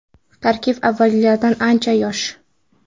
Tarkib avvalgilaridan ancha yosh.